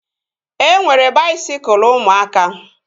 E nwere baisikụl ụmụaka